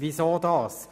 Weshalb dies?